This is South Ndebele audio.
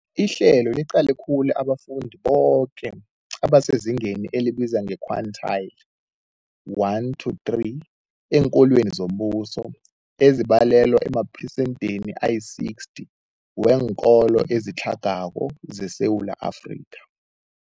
Ihlelo liqale khulu abafundi boke abasezingeni elibizwa nge-quintile 1-3 eenkolweni zombuso, ezibalelwa emaphesentheni ayi-60, weenkolo ezitlhagako zeSewula Afrika.